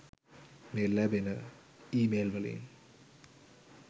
මේ ලැබන ඊමේල්වලින්